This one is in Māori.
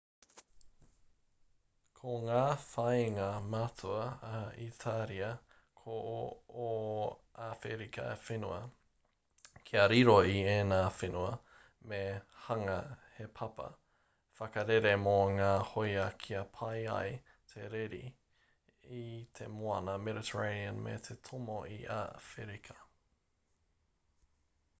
ko ngā whāinga matua a itaria ko ō awherika whenua kia riro i ēnā whenua me hanga he papa whakarere mō ngā hōia kia pai ai te rere i te moana mediterranean me te tomo i a awherika